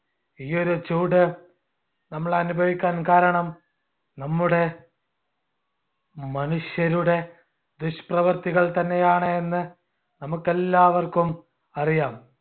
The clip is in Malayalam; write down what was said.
ഈ ഒരു ചൂട് നമ്മൾ അനുഭവിക്കാൻ കാരണം നമ്മുടെ മനുഷ്യരുടെ ദുഷ്പ്രവർത്തിക്കൾ തന്നെയാണ് എന്ന് നമുക്കെല്ലാവർക്കും അറിയാം.